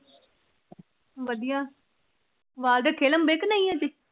ਵਧੀਆਂ ਅੱਜ ।